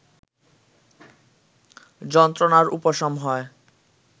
যন্ত্রণার উপশম হয়